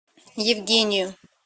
евгению